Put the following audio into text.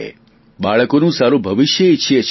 બાળકોનું સારું ભવિષ્ય ઇચ્છીએ છીએ